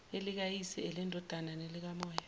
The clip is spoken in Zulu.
elikayise elendodana nelikamoya